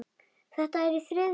Þetta er í þriðja sinn.